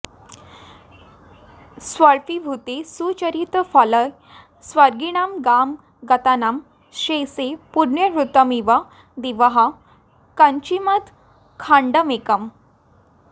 स्वल्पीभूते सुचरितफले स्वर्गिणां गां गतानां शेषैः पुण्यैर्हृतमिव दिवः कान्तिमत् खण्डमेकम्